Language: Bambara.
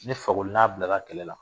Ni fakoli n'a bila kɛlɛ la